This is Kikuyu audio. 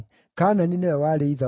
Kaanani nĩwe warĩ ithe wa